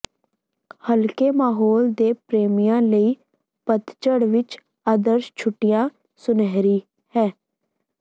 ਹਲਕੇ ਮਾਹੌਲ ਦੇ ਪ੍ਰੇਮੀਆਂ ਲਈ ਪਤਝੜ ਵਿੱਚ ਆਦਰਸ਼ ਛੁੱਟੀਆਂ ਸੁਨਹਿਰੀ ਹੈ